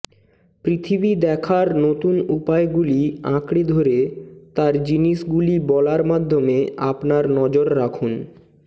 পৃথিবী দেখার নতুন উপায়গুলি আঁকড়ে ধরে তার জিনিসগুলি বলার মাধ্যমে আপনার নজর রাখুন